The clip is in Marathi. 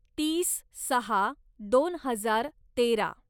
तीस सहा दोन हजार तेरा